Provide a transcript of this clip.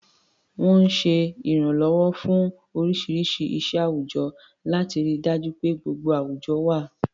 Wọ́n ń ṣe ìrànlọ́wọ́ fún oríṣiríṣi iṣẹ́ àwùjọ, láti rí i dájú pé gbogbo àwùjọ wà.